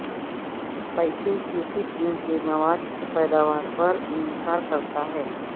پیسے کی قسم کے مواد کی پیداوار پر انحصار کرتا ہے